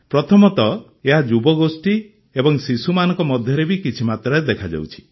ପ୍ରଥମତଃ ଏହା ଯୁବଗୋଷ୍ଠୀ ଏବଂ ଶିଶୁମାନଙ୍କ ମଧ୍ୟରେ ବି କିଛି ମାତ୍ରାରେ ଦେଖାଯାଉଛି